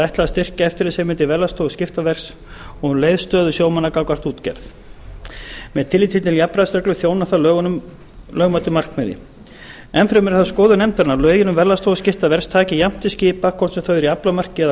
ætlað að styrkja eftirlitsheimildir verðlagsstofu skiptaverðs og um leið stöðu sjómanna gagnvart útgerð með tilliti til jafnræðisreglu þjónar það lögmætu markmiði enn fremur er það skoðun nefndarinnar að lögin um verðlagsstofu skiptaverðs taki jafnt til skipa hvort sem þau eru í aflamarki eða